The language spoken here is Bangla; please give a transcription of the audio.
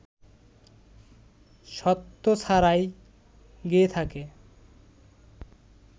স্বত্ব ছাড়াই গেয়ে থাকে